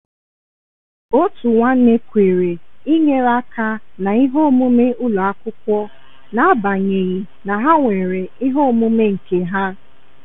Otu nwanne kwere inyere aka na ihe omume ụlọ akwụkwọ n’agbanyeghị na ha nwere ihe omume nke ha.